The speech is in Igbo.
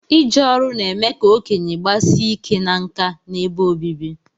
Ije ọru na-eme ka okenye gbasie ike na nka n'ebe obibi